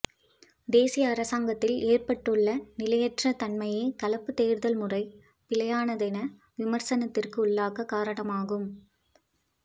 தேசிய அரசாங்கத்தில் ஏற்பட்டுள்ள நிலையற்ற தன்மையே கலப்பு தேர்தல்முறை பிழையானதென விமர்சனத்துக்குள்ளாகக் காரணமாகும்